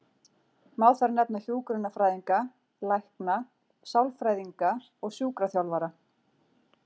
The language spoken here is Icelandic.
Má þar nefna hjúkrunarfræðinga, lækna, sálfræðinga og sjúkraþjálfara.